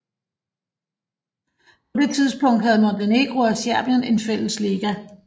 På det tidspunkt havde Montenegro og Serbien en fælles liga